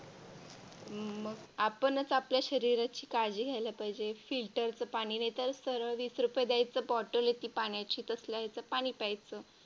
मग आपणच आपल्या शरीराची काळजी घ्यायला पाहिजे. Filter चं पाणी नाही तर सरळ वीस रुपये ची Bottle येते पाण्याची तसल्या याचे पाणी प्यायचं.